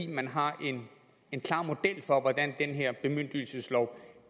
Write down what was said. man har en klar model for hvordan den her bemyndigelseslov